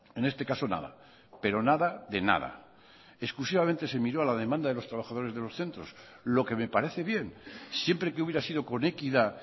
en este caso nada pero nada de nada exclusivamente se miró a la demanda de los trabajadores de los centros lo que me parece bien siempre que hubiera sido con equidad